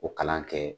O kalan kɛ